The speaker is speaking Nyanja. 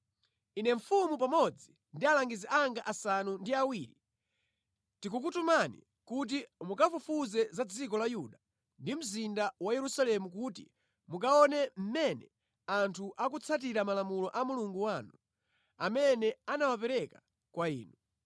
Ine mfumu pamodzi ndi alangizi anga asanu ndi awiri tikukutumani kuti mukafufuze za dziko la Yuda ndi mzinda wa Yerusalemu kuti mukaone mmene anthu akutsatira malamulo a Mulungu wanu, amene anawapereka kwa inu.